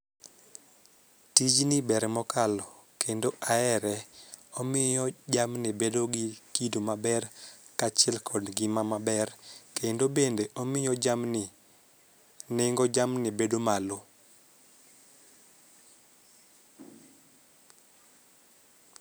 Tijni ber mokalo kendo ahere omiyo jamni bedo gi kido maber kaachiel kod ngima maber kendo bende omiyo jamni nengo jamni bedo malo